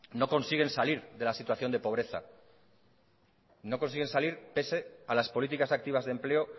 no consiguen salir de la situación de pobreza no consiguen salir pese a las políticas activas de empleo